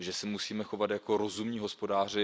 Musíme se chovat jako rozumní hospodáři.